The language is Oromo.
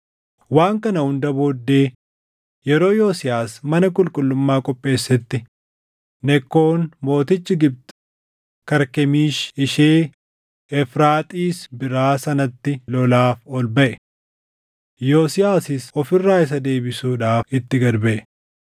Waan kana hunda booddee yeroo Yosiyaas mana qulqullummaa qopheessetti Nekkoon mootichi Gibxi Karkemiishi ishee Efraaxiis biraa sanatti lolaaf ol baʼe; Yosiyaasis of irraa isa deebisuudhaaf itti gad baʼe.